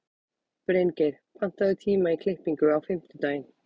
Bryngeir, pantaðu tíma í klippingu á fimmtudaginn.